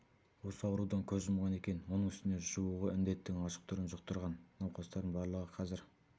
осы аурудан көз жұмған екен оның үстіне жуығы індеттің ашық түрін жұқтырған науқастардың барлығы қазір